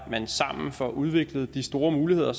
man sammen får udviklet de store muligheder